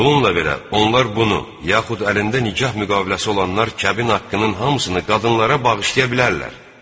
Bununla belə, onlar bunu, yaxud əlində nikah müqaviləsi olanlar kəbin haqqının hamısını qadınlara bağışlaya bilərlər.